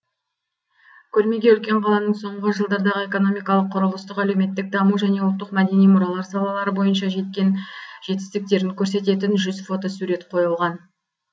көрмеге үлкен қаланың соңғы жылдардағы экономикалық құрылыстық әлеуметтік даму және ұлттық мәдени мұралар салалары бойынша жеткен жетістіктерін көрсететін жүз фотосурет қойылған